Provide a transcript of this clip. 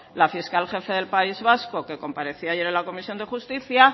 la fiscal jefe del país vasco que comparecía ayer en la comisión de justicia